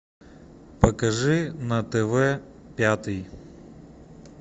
покажи на тв пятый